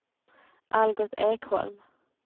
Algot Ekholm